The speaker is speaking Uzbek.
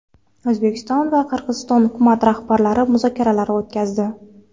O‘zbekiston va Qirg‘iziston hukumat rahbarlari muzokaralar o‘tkazdi.